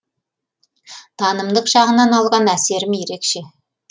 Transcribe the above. танымдық жағынан алған әсерім ерекше